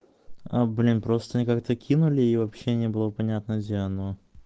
а блин просто они как-то кинули и вообще не было понятно где оно